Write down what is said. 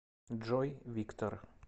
джой виктор